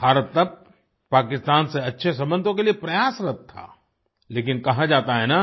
भारत तब पाकिस्तान से अच्छे संबंधों के लिए प्रयासरत था लेकिन कहा जाता है ना